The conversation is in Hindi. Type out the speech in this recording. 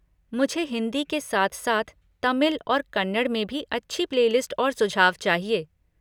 मुझे हिंदी के साथ साथ तमिल और कन्नड़ में भी अच्छी प्ले लिस्ट और सुझाव चाहिए।